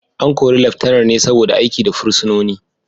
An kori Laftanar ne saboda aiki da fursunoni